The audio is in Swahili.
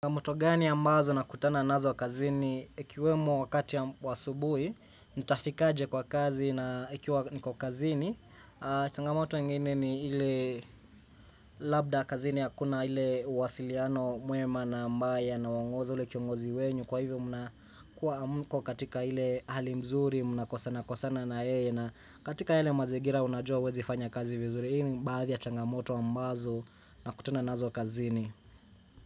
Mto gani ambazo nakutana nazo kazini, ekiwemo wakati ya wa asubuhi, nitafikaje kwa kazi na ikiwa niko kazini. Changamoto ingini ni ile labda kazini hakuna hile uwasiliano mwema na mbaya na unangoza ule kiongozi wenyu. Kwa hivyo mnakuwa hamuko katika ile hali mzuri, makosana kosana na yeye. Na katika yale mazingira unajua huwezi fanya kazi vizuri. Hii ni baadhi ya changamoto ambazo nakutana nazo kazini.